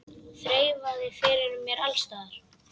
Þreifað fyrir mér alls staðar.